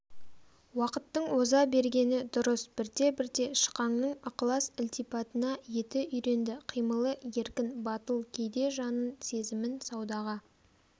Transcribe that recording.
уақыттың оза бергені дұрыс бірте-бірте шықаңның ықылас-ілтипатына еті үйренді қимылы еркін батыл кейде жанын сезімін саудаға